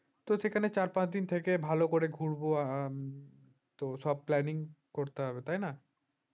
তো সেখানে চার পাঁচ দিন থেকে ভালো করে ঘুরবো আহ তো সব planning করতে হবে তাই না